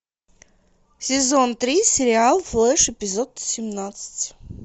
сезон три сериал флеш эпизод семнадцать